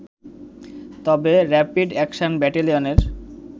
তবে rapid action ব্যাটেলিয়নের